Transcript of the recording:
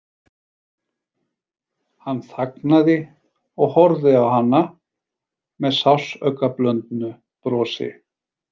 Hann þagnaði og horfði á hana með sársaukablöndnu brosi.